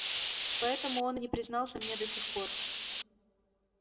поэтому он и не признался мне до сих пор